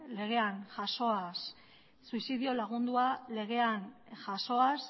legean jasoaz suizidio lagundua legean jasoaz